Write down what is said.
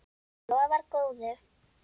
Lofar góðu.